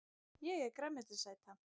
Ég er grænmetisæta!